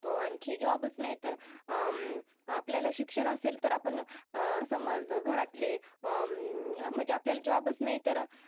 आणखी जॉब च नाहीतर अह आपल्याला शिक्षण असेल तर आपण अह समज घरातले अह म्हणजे आपल्याला जॉब च नाहीतर